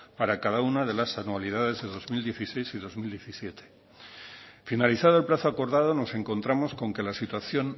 para cada una de las anualidades de dos mil dieciséis y dos mil diecisiete finalizado el plazo acordado nos encontramos con que la situación